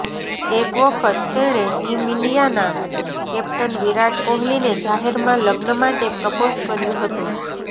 એક વખત તેણે ટીમ ઇન્ડિયાના કેપ્ટન વિરાટ કોહલીને જાહેરમાં લગ્ન માટે પ્રપોઝ કર્યુ હતુ